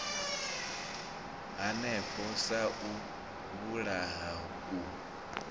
hanefho sa u vhulaha u